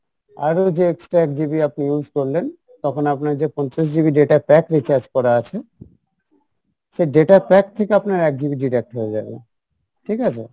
আরো যে extra এক GB আপনি use করলেন তখন আপনার যে পঞ্চাশ GB data pack recharge করা আছে সেই data pack থেকে আপনার এক GB deduct হয়ে যাবে ঠিক আছে?